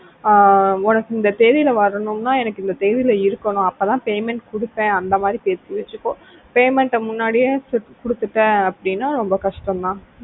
அஹ் உனக்கு இந்த தேதியில வரணும்னா எனக்கு இந்த தேதியில இருக்கணும் அப்பதான் payment கொடுப்பேன் அந்த மாதிரி பேசி வெச்சுக்கோ payment முன்னாடியே குடுத்துட்ட அப்படின்னா ரொம்ப கஷ்டம் தான்